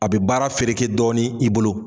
A bɛ baara feereke dɔɔni i bolo.